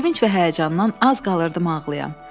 Sevinc və həyəcandan az qalırdım ağlaya.